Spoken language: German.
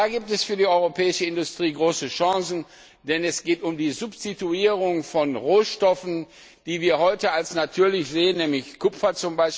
Da gibt es für die europäische Industrie große Chancen, denn es geht um die Substituierung von Rohstoffen, die wir heute als natürlich ansehen, wie etwa Kupfer.